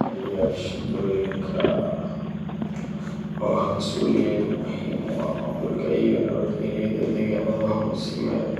Taliyeyaasha tuuloyinka oo ah masuuliyiin muhiim u ah maamulka iyo nabadgelyada deegaannada hoos yimaada